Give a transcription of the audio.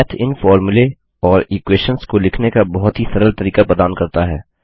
math इन फोर्मुले और इक्वेशंस को लिखने का बहुत ही सरल तरीका प्रदान करता है